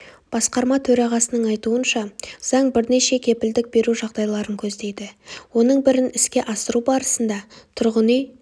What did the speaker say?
басқарма төрағасының айтуынша заң бірнеше кепілдік беру жағдайларын көздейді оның бірін іске асыру барысында тұрғын үй